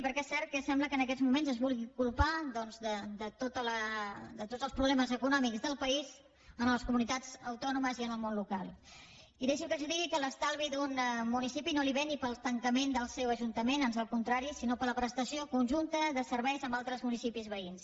perquè és cert que sembla que en aquests moments es vulgui culpar doncs de tots els problemes econòmics del país a les comunitats autònomes i al món local i deixi’m que els digui que l’estalvi d’un municipi no ve ni pel tancament del seu ajuntament ans al contrari sinó per la prestació conjunta de serveis amb altres municipis veïns